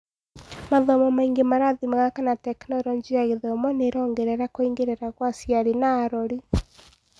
Mathomo mangĩ marathimaga kana Tekinoronjĩ ya Gĩthomo nĩĩrongerera kũingĩrira kwa aciari na arori.